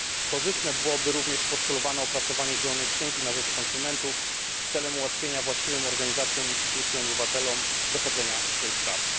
Korzystne byłoby również postulowane opracowanie zielonej księgi na rzecz konsumentów celem ułatwienia właściwym organizacjom, instytucjom i obywatelom dochodzenia swoich praw.